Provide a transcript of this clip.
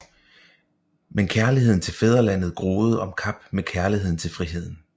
Men kærligheden til fædrelandet groede om kap med kærligheden til friheden